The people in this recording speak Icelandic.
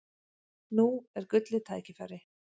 Nú er gullið tækifæri!